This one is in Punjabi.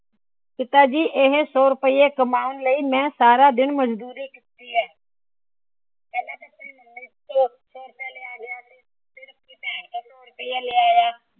ਪਿਤਾ ਜੀ ਇਹ ਸੋ ਰੁਪਏ ਕਮਾਉਣ ਲਈ ਮੈ ਸਾਰਾ ਦਿਨ ਮਜ਼ਦੂਰੀ ਕੀਤੀ ਏ।